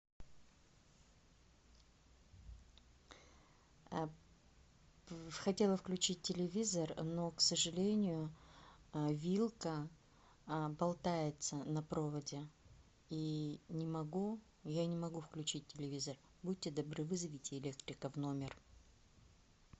хотела включить телевизор но к сожалению вилка болтается на проводе и не могу я не могу включить телевизор будьте добры вызовите электрика в номер